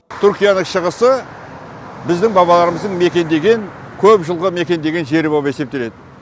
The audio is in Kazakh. түркияның шығысы біздің бабаларымыздың мекендеген көп жылғы мекендеген жері болып есептеледі